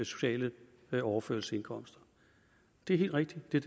sociale overførselsindkomster det er helt rigtigt det